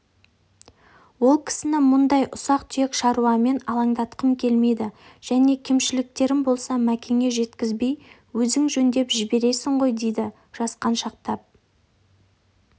ол кісіні мұндай ұсақ-түйек шаруамен алаңдатқым келмейді және кемшіліктерім болса мәкеңе жеткізбей өзің жөндеп жібересің ғой дейді жасқаншақтап